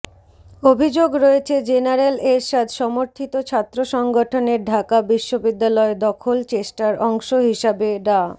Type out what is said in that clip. অভিযোগ রয়েছে জেনারেল এরশাদ সমর্থিত ছাত্র সংগঠনের ঢাকা বিশ্ববিদ্যালয় দখল চেষ্টার অংশ হিসেবে ডা